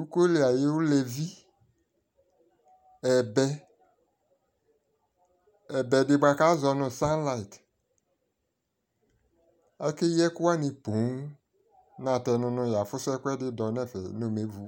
ikɔɔ li ayʋ lɛvi, ɛbɛ, ɛbɛ di bʋakʋ azɔ nʋ sunlight, ɛkɛ yii ɛkʋ wani pɔɔm m,natɛnʋ nʋ ya fʋsʋ ɛkʋɛdi dɔ nʋ ɛfɛ nʋ ɔmɛ vʋ